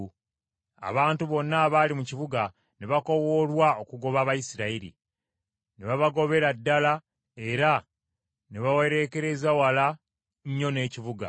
Abantu bonna abaali mu kibuga ne bakoowoolwa okugoba Abayisirayiri, ne babagobera ddala era ne babawereekereza wala nnyo n’ekibuga.